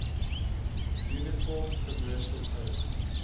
uniform commercial code